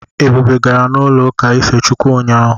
Ebube gara n'ụlọụka ife Chukwu ụnyaahụ.